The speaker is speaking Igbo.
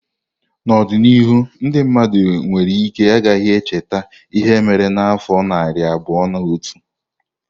N'ọdịnihu ndị mmadụ nwere ike ghara icheta ihe mere n'afọ narị abụọ na otu.